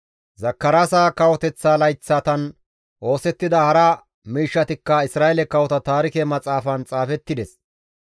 Zakaraasa kawoteththa layththatan oosettida hara miishshatikka Isra7eele kawota taarike maxaafan xaafettida.